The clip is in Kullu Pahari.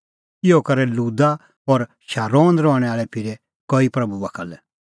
इहअ करै लुदा और शारोने रहणैं आल़ै फिरै कई प्रभू बाखा लै